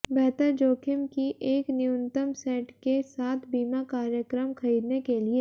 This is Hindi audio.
बेहतर जोखिम की एक न्यूनतम सेट के साथ बीमा कार्यक्रम खरीदने के लिए